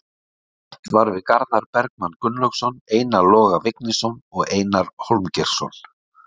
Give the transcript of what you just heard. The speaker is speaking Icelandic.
Rætt var við Garðar Bergmann Gunnlaugsson, Einar Loga Vignisson og Einar Hólmgeirsson.